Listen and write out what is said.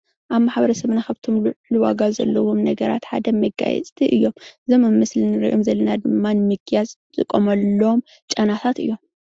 ኣብ ማሕበረሰብና ካብቶም ልዑልዋጋ ዘለዎም ነገራት ሓደ መጋየፅቲ እዮም፣ እዞም ኣብ ምስሊ እንሪኦም ዘለና ድማ ንምግያፅ እንጥቀመሎም ጨናታት እዮም፡፡